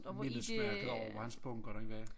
Mindesmærket over hvor hans bunker den var